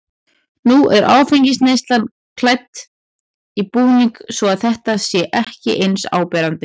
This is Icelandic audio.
Nú er áfengisneyslan klædd í búning svo að þetta sé ekki eins áberandi.